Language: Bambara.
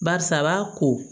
Barisa a b'a ko